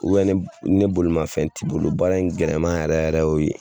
U ni bolimafɛn tɛ i bolo baara in gɛlɛma yɛrɛ yɛrɛ y'o de ye.